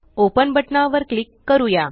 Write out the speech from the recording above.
open बटना वर click करूया